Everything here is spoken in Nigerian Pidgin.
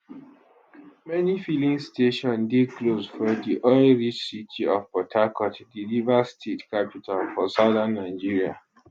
many filling stations dey closed for di oil rich city of port harcourt di rivers state capital for southern nigeria